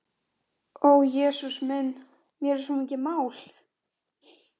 Léttir ósegjanlega þegar það er leitt í burtu.